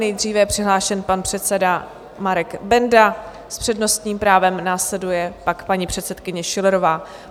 Nejdříve je přihlášen pan předseda Marek Benda, s přednostním právem následuje pak paní předsedkyně Schillerová.